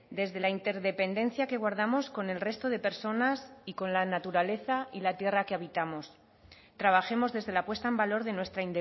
desde la interdependencia que guardamos con el resto de personas y con la naturaleza y la tierra que habitamos trabajemos desde la puesta en valor de nuestra